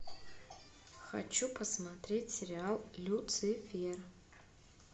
хочу посмотреть сериал люцифер